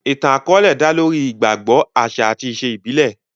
Ìtàn àkọ́ọ́lẹ̀ dá lórí ìgbàgbọ, àṣà àti ìṣe ìbílẹ̀